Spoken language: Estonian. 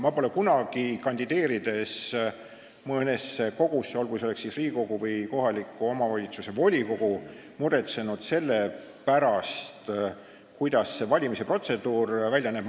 Ma pole kunagi, kandideerides mõnesse kogusse, olgu selleks siis Riigikogu või kohaliku omavalitsuse volikogu, muretsenud selle pärast, kuidas see valimiste protseduur välja näeb.